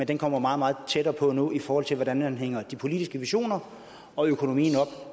den kommer meget meget tættere på nu i forhold til hvordan man hænger de politiske visioner og økonomien op